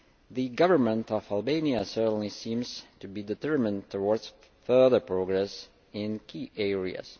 The Government of Albania certainly seems to be determined towards further progress in key areas.